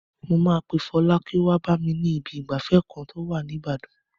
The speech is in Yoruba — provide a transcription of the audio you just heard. Mo máa pe Fọlá kó wá bá mi ní ibi ìgbafẹ́ kan tó wà ní Ibadan.